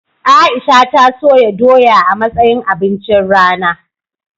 Aisha ta soya doya a matsayin abincin rana jiya.